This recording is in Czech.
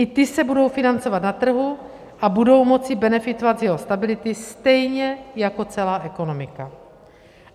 I ty se budou financovat na trhu a budou moci benefitovat z jeho stability, stejně jako celá ekonomika.